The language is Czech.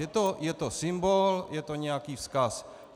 Je to symbol, je to nějaký vzkaz.